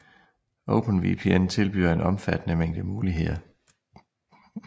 OpenVPN tilbyder en omfattende mængde muligheder